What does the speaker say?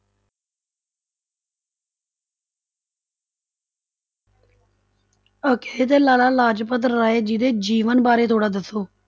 ਅੱਛਾ ਜੀ ਤੇ ਲਾਲਾ ਲਾਜਪਤ ਰਾਏ ਜੀ ਦੇ ਜੀਵਨ ਬਾਰੇ ਥੋੜ੍ਹਾ ਦੱਸੋ।